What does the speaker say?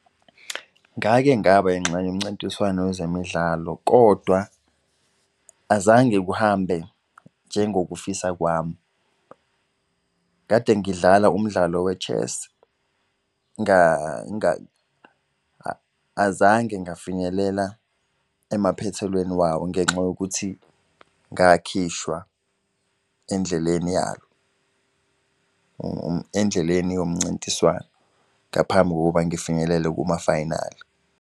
Ngake ngaba yingxenye yomncintiswano wezemidlalo, kodwa azange kuhambe njengokufisa kwami. Kade ngidlala umdlalo we-chess, azange ngafinyelela emaphethelweni wawo ngenxa yokuthi ngakhishwa endleleni yalo, endleleni yomncintiswano, ngaphambi kokuba ngifinyelele kumafayinali.